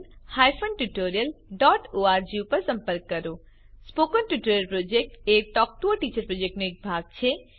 spoken tutorial project એ talk to a teacher પ્રોજેક્ટનો એક ભાગ છે